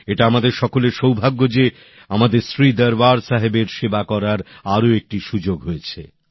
এটা আমাদের সকলের সৌভাগ্য যে আমাদের শ্রী দরবার সাহেবের সেবা করবার আরেকটি সুযোগ হয়েছে